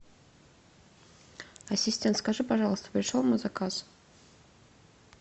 ассистент скажи пожалуйста пришел мой заказ